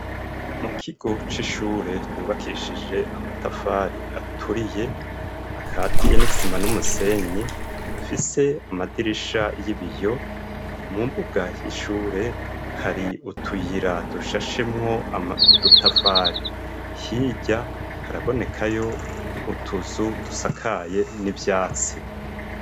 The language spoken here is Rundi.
Mu kigo c'ishure yubakishije amatafari aturiye akatiye n'isima n'umusenyi afise amadirisha y'ibiyo mu mbuga y'ishure hari utuyira dushashemwo udutafari ahiye harabonekayo utuzu dusakaye n'ivyatsi.